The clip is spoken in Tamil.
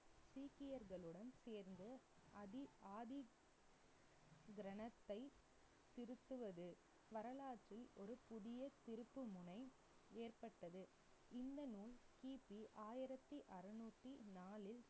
சீக்கியர்களுடன் சேர்ந்து அதி ஆதி கிரந்தத்தை திருத்துவது. வரலாற்றில் ஒரு புதிய திருப்புமுனை ஏற்பட்டது இந்த நூல், கிபி ஆயிரத்தி அறுநூத்தி நாலில்,